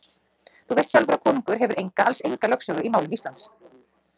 Þú veist sjálfur að konungur hefur enga, alls enga lögsögu í málum Íslands.